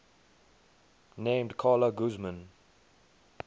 named carla guzman